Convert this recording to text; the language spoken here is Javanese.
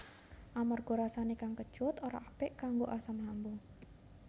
Amarga rasané kang kecut ora apik kanggo asam lambung